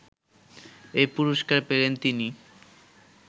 এ পুরস্কার পেলেন তিনি